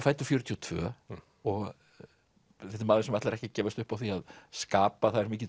fæddur fjörutíu og tvö og þetta er maður sem ætlar ekki að gefast upp á því að skapa það er mikill